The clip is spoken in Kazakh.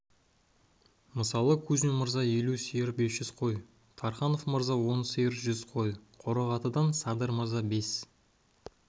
мысалы кузьмин мырза елу сиыр бес жүз қой тарханов мырза он сиыр жүз қой қорағатыдан садыр мырза бес